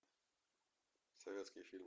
советский фильм